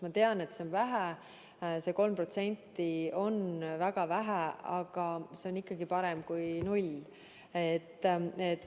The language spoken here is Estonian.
Ma tean, et 3% on väga vähe, aga see on ikkagi parem kui null.